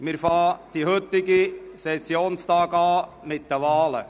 Wir beginnen den heutigen Sessionstag mit den Wahlen.